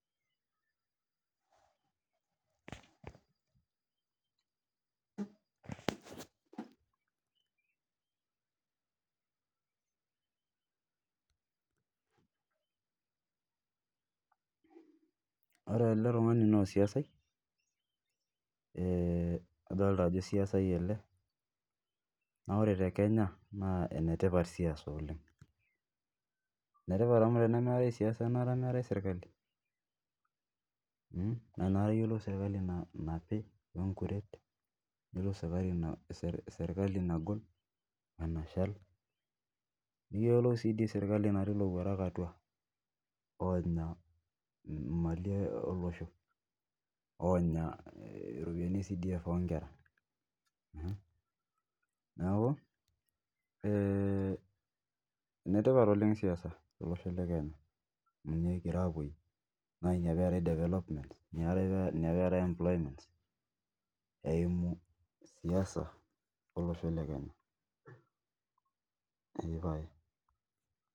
Ore ele tung'ani naa mwana siasa ee adolita Ajo mwana siasa ele naa ore tee Kenya enetipatat siasa oleng enetipat amu tenemeetae siasa enata meetae sirkali naa enakata eyiolou sirkali napii peyiolou sirkali nagol wee nashal niyiolou sirkali natii elowuarak atua onya Mali olosho onya ropiani ee CDEF oo Nkera neeku ee enetipat oleng siasa tolosho lee Kenya amu ninye kigira apuoyie naa ena peetae development ena peetae[employments eyiamu siasa olosho le Kenya pee pae